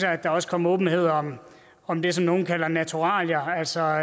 at der også kom åbenhed om om det som nogle kalder naturalier altså